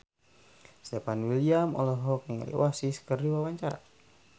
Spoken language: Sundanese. Stefan William olohok ningali Oasis keur diwawancara